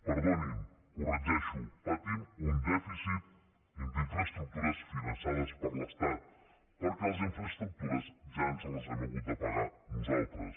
perdoni ho corregeixo patim un dèficit d’infraestructures finançades per l’estat perquè les infraestructures ja ens les hem hagut de pagar nosaltres